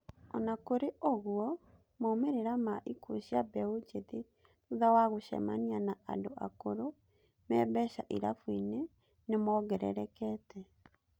Ona kũri ũguo, maumĩrĩra ma ikuũ cia mbeũ njĩthĩ thutha wa gũcemania na andũ akũrũ me mbeca irabuinĩ nĩmongererekete.